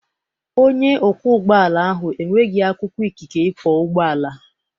Onye ọkwọ ụgbọala ahụ enweghị akwụkwọ ikike ikwọ ụgbọala.